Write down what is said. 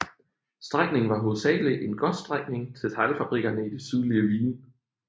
Strækningen var hovedsagelig en godsstrækning til teglfabrikkerne i det sydlige Wien